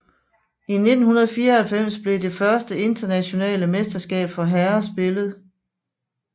I 1994 blev det første internationale mesterskab for herrer spillet